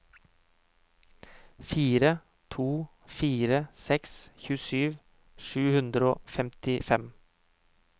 fire to fire seks tjuesju sju hundre og femtifem